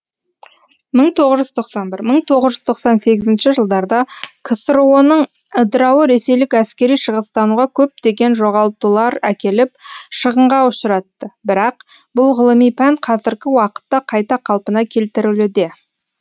мың тоғыз жүз тоқсан бір мың тоғыз жүз тоқсан сегізінші жылдарда ксро ның ыдырауы ресейлік әскери шығыстануға көптеген жоғалтулар әкеліп шығынға ұшыратты бірақ бұл ғылыми пән қазіргі уақытта қайта қалпына келтірілуде